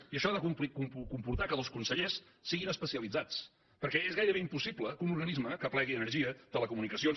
i això ha de comportar que els consellers siguin especialitzats perquè és gaire·bé impossible que un organisme que aplegui energia telecomunicacions